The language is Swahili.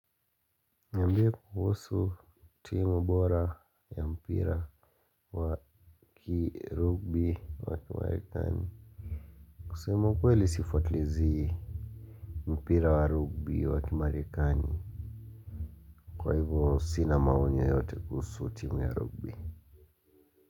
Niambie kuhusu timu bora ya mpira wa kirugbi wa kimarekani. Kusema kweli sifuatilizii mpira wa rugbi wa kimarekani. Kwa hivyo sina maoni yoyote kuhusu timu ya rugbi.